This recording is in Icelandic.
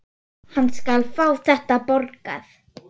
Hann skal fá þetta borgað!